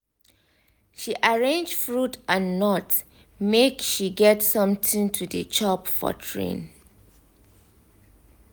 she arrange fruit and nut make she get something to dey chop for train.